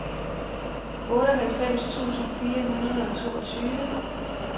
otteoghalvfems tusind fire hundrede og toogtyve